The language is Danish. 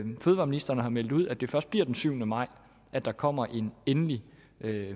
fødevareministeren har meldt ud at det først bliver den syvende maj at der kommer en endelig